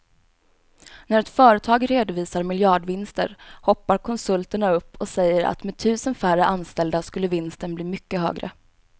När ett företag redovisar miljardvinster hoppar konsulterna upp och säger att med tusen färre anställda skulle vinsten bli mycket högre.